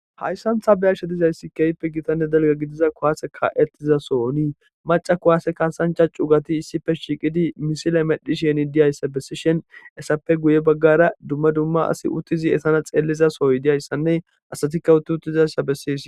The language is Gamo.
Hayssan ta be'ashe dizaysi keehippe gitanne dalgga gidiza kuwase kaa'etiza sohoni macca kuwase kaasancha cugati issippe shiiqi misile medhishe diyayssa bessishin hessappe guye baggara dumma dumma asi uttizi eetana xeelizasoy diyaysanne asatika utti uttizayssa beses.